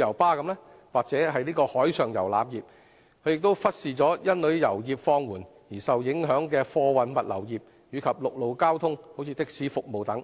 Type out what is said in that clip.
遊巴士和海上遊覽業；政府亦忽視因旅遊業放緩而受影響的貨運物流業，以及陸路交通如的士服務等。